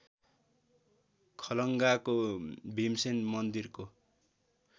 खलङ्गाको भीमसेन मन्दिरको